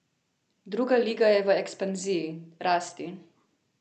Druga liga je v ekspanziji, rasti.